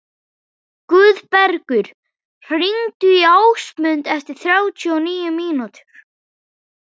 Guðbergur, hringdu í Ásmundu eftir þrjátíu og níu mínútur.